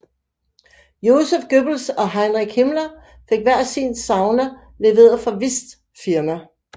Joseph Goebbels og Heinrich Himmler fik hver sin sauna leveret fra Whists firma